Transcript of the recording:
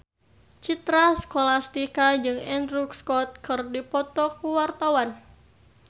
Citra Scholastika jeung Andrew Scott keur dipoto ku wartawan